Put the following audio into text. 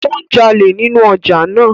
O ń jale ninu ọja naa.